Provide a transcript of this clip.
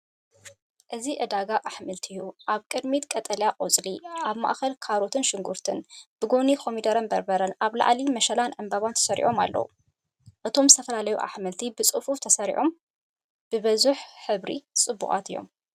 እዚ ዕዳጋ ኣሕምልቲ እዩ፤ ኣብ ቅድሚት ቀጠልያ ቆጽሊ፡ ኣብ ማእከል ካሮትን ሽጉርቲን፡ ብጎኒ ኮሚደረን በርበረን፡ ኣብ ላዕሊ መሸላን ዕምባባ ተሰሪዖም ኣለዉ። እቶም ዝተፈላለዩ ኣሕምልቲ፡ ብጽፉፍ ተሰሪዖም፡ ብብዙሕ ሕብሪ ጽቡቓት እዮም።